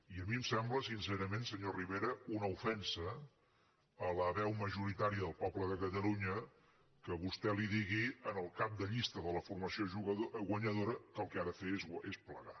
i a mi em sembla sincerament senyor rivera una ofensa a la veu majoritària del poble de catalunya que vostè digui al cap de llista de la formació guanyadora que el que ha de fer és plegar